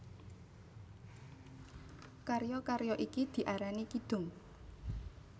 Karya karya iki diarani kidung